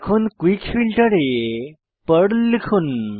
এখন quick filter এ Perl লিখুন